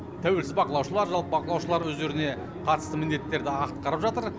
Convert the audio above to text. тәуелсіз бақылаушылар жалпы бақылаушылар өздеріне қатысты міндеттерді атқарып жатыр